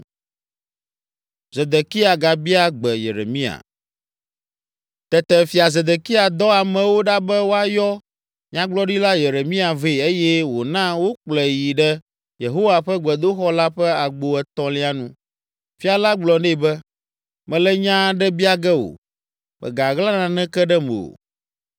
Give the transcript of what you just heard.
Tete Fia Zedekia dɔ amewo ɖa be woayɔ Nyagblɔɖila Yeremia vɛ eye wòna wokplɔe yi ɖe Yehowa ƒe gbedoxɔ la ƒe agbo etɔ̃lia nu. Fia la gblɔ nɛ be, “Mele nya aɖe bia ge wò; mègaɣla naneke ɖem o.”